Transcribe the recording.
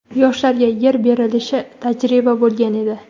Yoshlarga yer berilishi tajriba bo‘lgan edi.